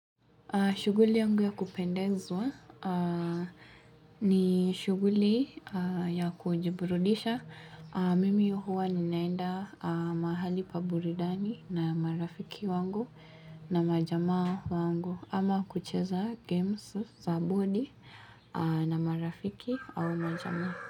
Shughuli yangu ya kupendezwa aah ni shughuli aah ya kujiburudisha aah. Mimi huwa ninaenda mahali paburudani na marafiki wangu na majama wangu. Ama kucheza games za body na marafiki au majama.